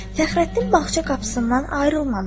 Fəxrəddin bağça qapısından ayrılmamışdı.